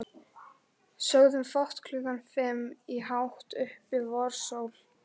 Sögðum fátt klukkan fimm í hátt uppi vorsól.